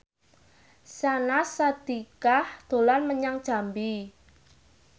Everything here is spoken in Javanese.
Syahnaz Sadiqah dolan menyang Jambi